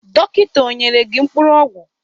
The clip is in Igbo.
Dọkịta ọ nyere gị mkpụrụ ọgwụ?